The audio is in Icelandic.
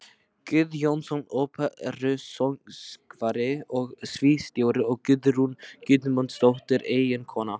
Guðjónsson, óperusöngvari og sviðsstjóri, og Guðrún Guðmundsdóttir, eiginkona